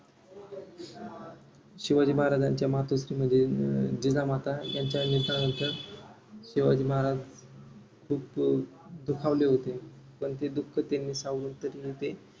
शिवाजी महाराजांच्या मातोश्री म्हणजे जिजामाता यांच्या निधंनामुळे शिवाजी महाराज खूप दुखावले होते. पण ते दुख सावरून त्यांनी ते